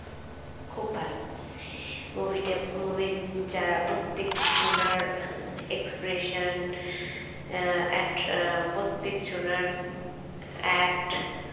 খুব ভালো movie তে movie যারা প্রত্যেক জনার expression আহ at আহ প্রত্তেক জনার act